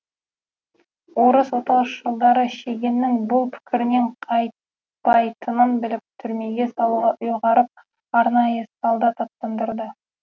орыс отаршылдары шегеннің бұл пікірінен қайтпайтынын біліп түрмеге салуға ұйғарып арнайы солдат аттандырады